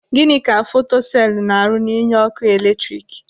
Gịnị ka fotoselu na-arụ n'inye ọkụ eletrik?